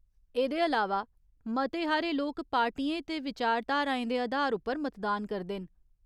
एह्दे अलावा, मते हारे लोक पार्टियें ते विचारधाराएं दे अधार उप्पर मतदान करदे न।